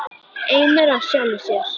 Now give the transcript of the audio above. Eimur af sjálfri sér.